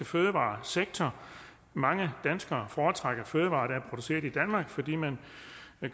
fødevaresektor mange danskere foretrækker fødevarer der produceret i danmark fordi man